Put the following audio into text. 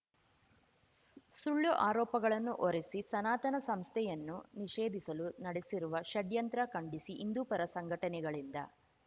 ಸುಳ್ಳು ಆರೋಪಗಳನ್ನು ಹೊರಿಸಿ ಸನಾತನ ಸಂಸ್ಥೆಯನ್ನು ನಿಷೇಧಿಸಲು ನಡೆಸಿರುವ ಷಡ್ಯಂತ್ರ ಖಂಡಿಸಿ ಹಿಂದೂಪರ ಸಂಘಟನೆಗಳಿಂದ